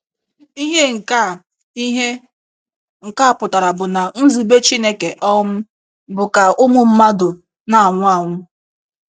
Ihe nke a Ihe nke a pụtara bụ na nzube Chineke um bụ ka ụmụ mmadụ na - anwụ anwụ.